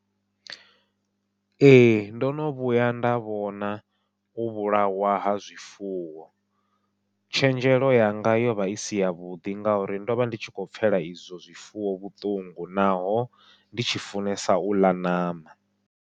Ee ndo no vhuya nda vhona u vhulawa ha zwifuwo, tshenzhelo yanga yovha i si yavhuḓi ngauri ndovha ndi tshi khou pfhela izwo zwifuwo vhuṱungu, naho ndi tshi funesa u ḽa ṋama.